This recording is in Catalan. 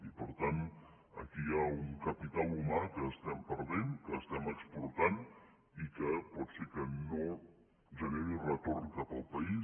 i per tant aquí hi ha un capital humà que estem perdent que estem exportant i que pot ser que no generi retorn cap al país